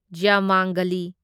ꯖꯌꯃꯥꯡꯒꯂꯤ